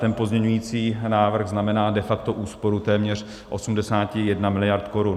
Ten pozměňující návrh znamená de facto úsporu téměř 81 miliard korun.